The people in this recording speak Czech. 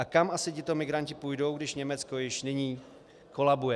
A kam asi tito migranti půjdou, když Německo již nyní kolabuje?